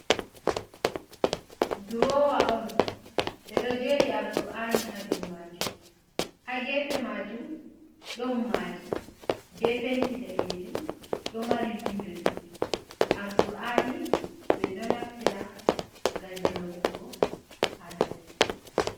Durowa on ɓeɗo jeri Arkur'ani ha dou majum. Ha gefe majum ɗon maadi be penti danejum, ɗo mari windo ɗiɗi. Arkur'ani min ɗo naftira ngam jangugo hala deena.